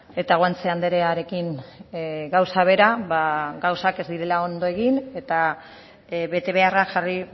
eta guanche andrearekin gauza bera ba gauzak ez direla ondo egin eta betebeharrak jarri